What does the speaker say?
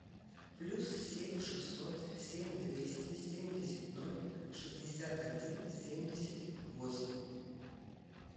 плюс семь шестьсот семь двести семьдесят ноль шестьдесят один семьдесят восемь